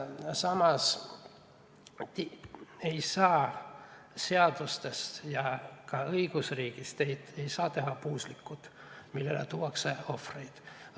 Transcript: Samas ei saa seadustest ja eriti õigusriigist teha puuslikku, millele tuuakse ohvreid.